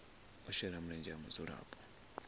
u shela mulenzhe ha mudzulapo